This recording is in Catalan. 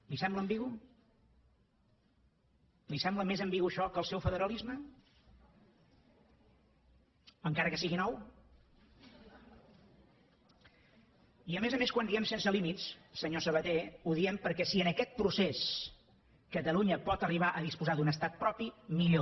li sembla ambigu li sembla més ambigu això que el seu federalisme encara que sigui nou i a més a més quan diem sense límits senyor sabaté ho diem perquè si en aquest procés catalunya pot arribar a disposar d’un estat propi millor